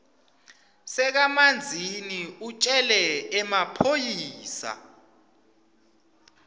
sakamanzini utjele emaphoyisa